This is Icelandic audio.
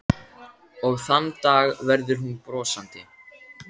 Og þann dag verður hún brosandi.